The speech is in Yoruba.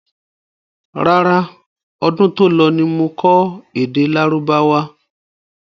Rárá, ọdún to lọ ní mo kọ́ èdè lárúbáwá.